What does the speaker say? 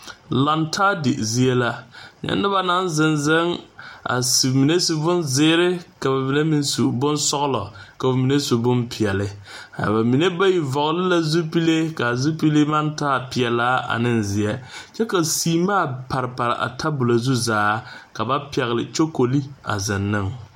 Laŋe taa di zie la nyɛ noba naŋ zeŋ zeŋ ka ba mine su bon zeɛre. ka ba mine meŋ su bon sɔglɔ ka ba mine su bon pɛɛle. a ba mine bayi vɔgeli la zupile kaa zupile maŋ taa sɔglaa. ane zeɛ kyɛ ka seemaa pare pare a tabolɔ zu zaa ka ba pɛgele kyokoli a zeŋ ne.